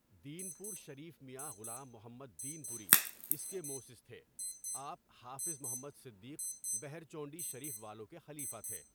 دین پور شریف میاں غلام محمد دین پوری اس کے موسئس تهے آپ حافظ محمد صدیق بهرچونڈی شریف والوں کے خلیفہ تھے.